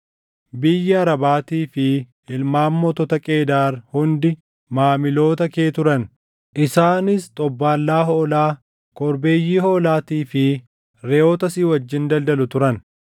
“ ‘Biyyi Arabaatii fi ilmaan mootota Qeedaar hundi maamiloota kee turan. Isaanis xobbaallaa hoolaa, korbeeyyii hoolaatii fi reʼoota si wajjin daldalu turan.